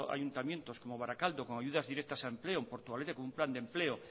ayuntamientos como barakaldo con ayudas directas a empleo en portugalete con un plan de empleo